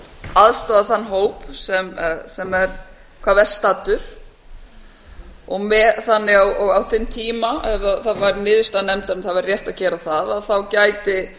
aðstoða þann hóp sem er hvað verst staddur þannig á þeim tíma eða það væri niðurstaða nefndarinnar að það væri rétt að gera það gæti